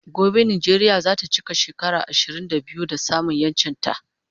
Gobe Nijeria zata chika shekara ishirin da biyu da samun yanchin ta